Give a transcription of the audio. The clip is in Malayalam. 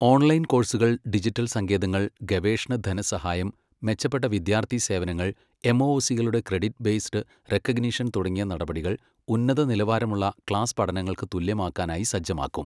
ഓൺലൈൻ കോഴ്സുകൾ, ഡിജിറ്റൽ സങ്കേതങ്ങൾ, ഗവേഷണധനസഹായം, മെച്ചപ്പെട്ട വിദ്യാർത്ഥി സേവനങ്ങൾ, എംഒഒസികളുടെ ക്രെഡിറ്റ് ബേസ്ഡ് റെക്കഗനീഷൻ തുടങ്ങിയ നടപടികൾ ഉന്നത നിലവാരമുള്ള ക്ലാസ് പഠനങ്ങൾക്ക് തുല്യമാക്കാനായി സജ്ജമാക്കും